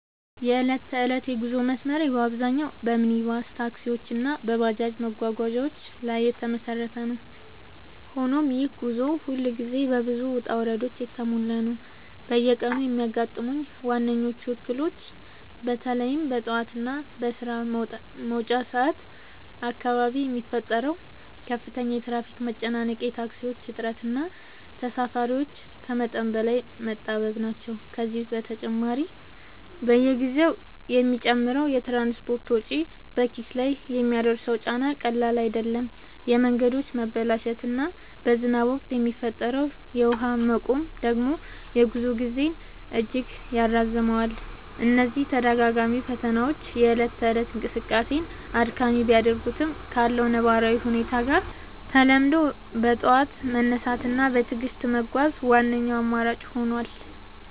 የዕለት ተዕለት የጉዞ መስመሬ በአብዛኛው በሚኒባስ ታክሲዎች እና በባጃጅ መጓጓዣዎች ላይ የተመሰረተ ነው፤ ሆኖም ይህ ጉዞ ሁልጊዜ በብዙ ውጣ ውረዶች የተሞላ ነው። በየቀኑ የሚያጋጥሙኝ ዋነኞቹ እክሎች በተለይም በጠዋት እና በስራ መውጫ ሰዓት አካባቢ የሚፈጠረው ከፍተኛ የትራፊክ መጨናነቅ፣ የታክሲዎች እጥረት እና ተሳፋሪዎች ከመጠን በላይ መጣበብ ናቸው። ከዚህ በተጨማሪ፣ በየጊዜው የሚጨምረው የትራንስፖርት ወጪ በኪስ ላይ የሚያደርሰው ጫና ቀላል አይደለም፤ የመንገዶች መበላሸት እና በዝናብ ወቅት የሚፈጠረው የውሃ መቆም ደግሞ የጉዞ ጊዜን እጅግ ያራዝመዋል። እነዚህ ተደጋጋሚ ፈተናዎች የእለት ተእለት እንቅስቃሴን አድካሚ ቢያደርጉትም፣ ካለው ነባራዊ ሁኔታ ጋር ተላምዶ በጠዋት መነሳት እና በትዕግስት መጓዝ ዋነኛው አማራጭ ሆኗል።